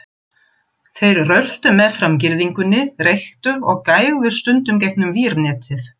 Þeir röltu meðfram girðingunni, reyktu og gægðust stundum gegnum vírnetið.